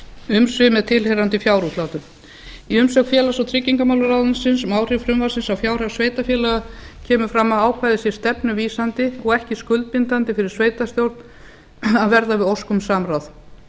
umsvif með tilheyrandi fjárútlátum í umsögn félags og tryggingamálaráðuneytisins um áhrif frumvarpsins á fjárhag sveitarfélaga kemur fram að ákvæðið er stefnuvísandi og ekki skuldbindandi fyrir sveitarstjórn að verða við ósk um samráð